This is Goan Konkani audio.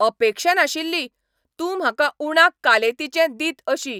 अपेक्षा नाशिल्ली, तूं म्हाका उणाक कालेतीचें दित अशी